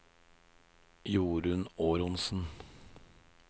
Jorunn Aronsen